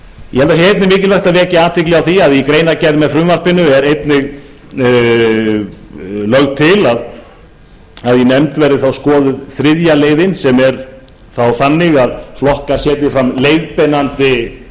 ég tel mikilvægt að vekja athygli á því að í greinargerð með frumvarpinu er lagt til að í nefnd verði þriðja leiðin skoðuð sem er þá þannig að flokkar setji fram leiðbeinandi